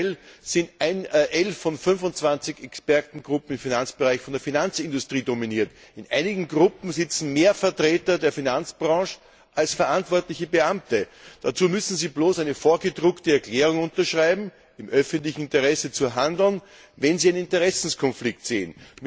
Aktuell sind 11 von 25 Expertengruppen im Finanzbereich von der Finanzindustrie dominiert. In einigen Gruppen sitzen mehr Vertreter der Finanzbranche als verantwortliche Beamte. Dazu müssen diese Vertreter bloß eine vorgedruckte Erklärung unterschreiben, im öffentlichen Interesse zu handeln, wenn sie einen Interessenkonflikt sehen.